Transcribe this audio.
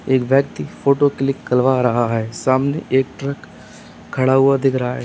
एक व्यक्ति photo click करवा रहा है सामने एक ट्रक खड़ा हुआ दिख रहा है।